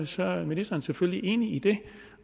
så er ministeren selvfølgelig enig i det